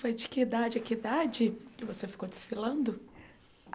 Foi de que idade a que idade que você ficou desfilando?